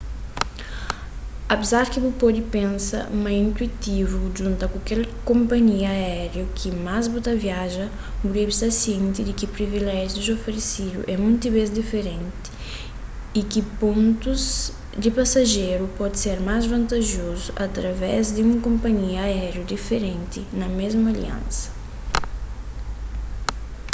apésar di bu pode pensa ma é intuitivu djunta ku kel konpanhia aériu ki más bu ta viaja bu debe sta sienti di ki priviléjius oferesidu é monti bês diferenti y ki pontus di pasajeru pode ser más vantajozu através di un konpanhia aériu diferenti na mésmu aliansa